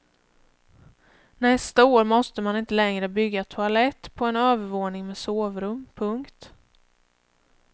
Nästa år måste man inte längre bygga toalett på en övervåning med sovrum. punkt